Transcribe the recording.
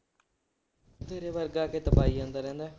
ਤੇਰੇ ਵਰਗਾ ਆ ਕੇ ਦਬਾਈ ਜਾਂਦਾ ਰਹਿੰਦਾ।